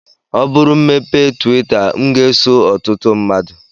Ọ bụrụ m mepee twita m ga-eso ọtụtụ mmadụ